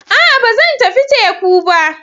A'a! Ba zan tafi teku ba.